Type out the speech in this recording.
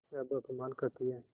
अब अपमान करतीं हैं